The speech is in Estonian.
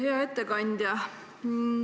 Hea ettekandja!